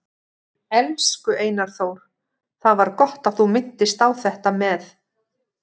Elsku Einar Þór, það var gott að þú minntist á þetta með